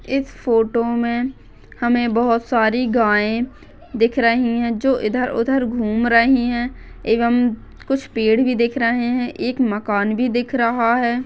इस फोटो मे हमे बहुत सारी गाय दिख रही है जो इधर उधर घूम रही है एवंम कुछ पेड़ भी दिख रहे है एक मकान भी दिख रहा है।